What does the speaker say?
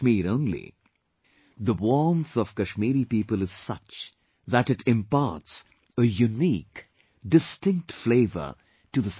Only The warmth of Kashmiri people is such that it imparts a unique, distinct flavor to the saffron